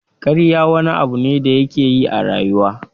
Ƙarya wani abu ne da yake yi a rayuwa.